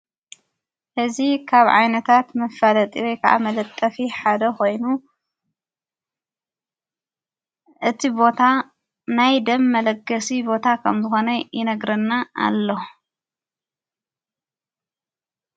ሕዝ ኻብ ዓይነታት መፈለጢሪ ከዓ መለጠፊ ሓደ ኾይኑ እቲ ቦታ ናይ ደም መለገሲ ቦታ ኸምዘኾነ ይነግረና ኣሎ።